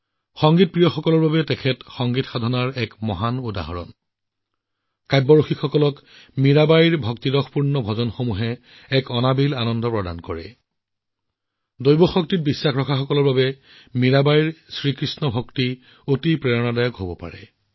যদি কোনোবাই সংগীতৰ প্ৰতি আগ্ৰহী তেন্তে সংগীতৰ প্ৰতি সমৰ্পণৰ এক মহান নিদৰ্শন দি গৈছে যদি কোনোবা কবিতাপ্ৰেমী তেন্তে ভক্তিত নিমগ্ন মীৰাবাইৰ ভজনবোৰে তেওঁক এক বেলেগ আনন্দ দিয়ে যদি কোনোবাই ঐশ্বৰিক শক্তিত বিশ্বাস কৰে তেন্তে মিৰাবাইৰ শ্ৰীকৃষ্ণত মগ্ন হোৱাটো তেওঁৰ বাবে এক বৃহৎ প্ৰেৰণা হব পাৰে